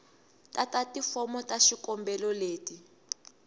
tata tifomo ta xikombelo leti